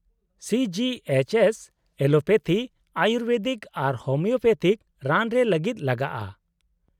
- C G H S allopathy, ayurvedic, ᱟᱨ homeopathic ᱨᱟᱱ ᱨᱮ ᱞᱟᱹᱜᱤᱫ ᱞᱟᱜᱟᱜᱼᱟ ?